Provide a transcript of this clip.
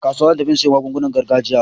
Kasuwa zan tafi in siyo magungunan gargajiya.